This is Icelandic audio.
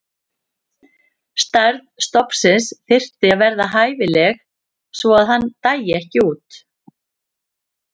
Stærð stofnsins þyrfti að vera hæfileg svo að hann dæi ekki út.